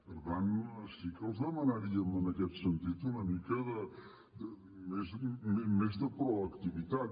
per tant sí que els demanaríem en aquest sentit una mica més de proactivitat